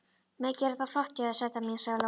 Mikið er þetta flott hjá þér, sæta mín, sagði Lóa.